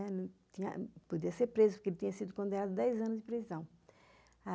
Ele podia ser preso, porque ele tinha sido condenado a dez anos de prisão.